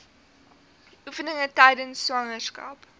oefeninge tydens swangerskap